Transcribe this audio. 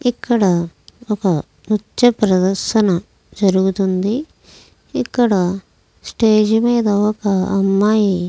ఇక్కడ ఒక ప్రదేశ్న పచ ప్రదేశ్న జేరుగుత్గుంది ఇక్కడ స్టేజి మేధా ఓక అమ్మయ్యి--